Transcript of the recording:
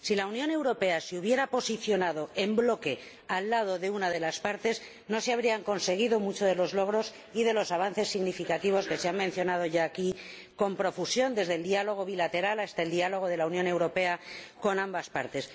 Si la Unión Europea se hubiera posicionado en bloque al lado de una de las partes, no se habrían conseguido muchos de los logros ni de los avances significativos que se han mencionado ya aquí con profusión, desde el diálogo bilateral hasta el diálogo de la Unión Europea con ambas partes.